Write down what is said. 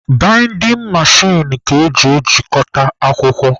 Baịdịn mechin ka eji ejikọta akwụkwọ.